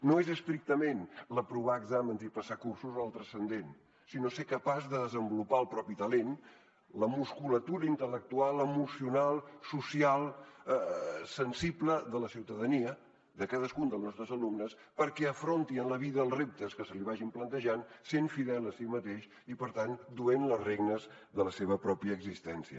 no és estrictament aprovar exàmens i passar cursos el transcendent sinó ser capaç de desenvolupar el propi talent la musculatura intel·lectual emocional social sensible de la ciutadania de cadascun dels nostres alumnes perquè afronti en la vida els reptes que se li vagin plantejant sent fidel a si mateix i per tant duent les regnes de la seva pròpia existència